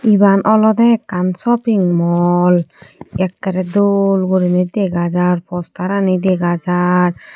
Eban olode ekkan shoping mall ekkere dol gorinei dega jaar postarani dega jaar.